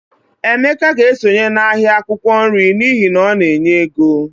Emeka ga-esonye n'ahịa akwụkwọ nri n'ihi na ọ na-enye ego